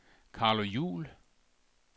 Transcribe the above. Carlo Juul